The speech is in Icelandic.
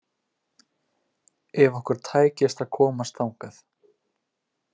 Ef okkur tækist að komast þangað.